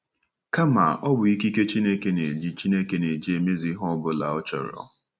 Kama, ọ bụ ikike Chineke na-eji Chineke na-eji emezu ihe ọ bụla ọ chọrọ.